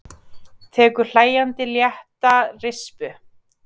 Tekur hlæjandi létta rispu.